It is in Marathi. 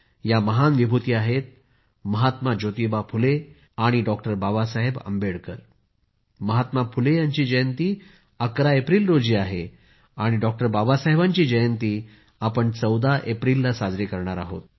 या महान विभूती आहेत महात्मा फुले आणि बाबासाहेब आंबेडकर महात्मा फुले यांची जयंती 11 एप्रिल रोजी आहे आणि बाबासाहेबांची जयंती आपण 14 एप्रिलला साजरा करणार आहोत